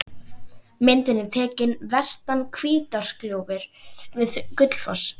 Ég nota fyrsta tækifæri sem gefst.